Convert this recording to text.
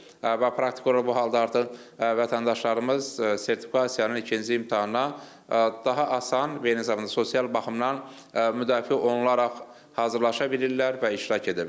Və praktik olaraq bu halda artıq vətəndaşlarımız sertifikasiyanın ikinci imtahanına daha asan və eyni zamanda sosial baxımdan müdafiə olunaraq hazırlaşa bilirlər və iştirak edə bilirlər.